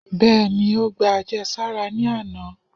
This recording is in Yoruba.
Beení, o gbá ajésárá re ní anà